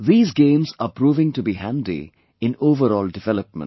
These games are proving to be handy in overall development